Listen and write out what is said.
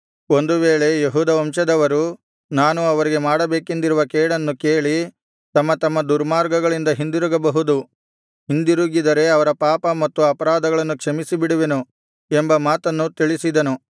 ಒಂದು ವೇಳೆ ಯೆಹೂದ ವಂಶದವರು ನಾನು ಅವರಿಗೆ ಮಾಡಬೇಕೆಂದಿರುವ ಕೇಡನ್ನು ಕೇಳಿ ತಮ್ಮ ತಮ್ಮ ದುರ್ಮಾರ್ಗಗಳಿಂದ ಹಿಂದಿರುಗಬಹುದು ಹಿಂದಿರುಗಿದರೆ ಅವರ ಪಾಪ ಮತ್ತು ಅಪರಾಧಗಳನ್ನು ಕ್ಷಮಿಸಿಬಿಡುವೆನು ಎಂಬ ಮಾತನ್ನು ತಿಳಿಸಿದನು